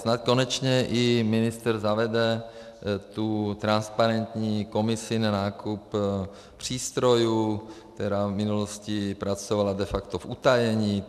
Snad konečně i ministr zavede tu transparentní komisi na nákup přístrojů, která v minulosti pracovala de facto v utajení.